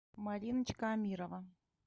мариночка амирова